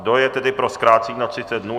Kdo je tedy pro zkrácení na 30 dnů?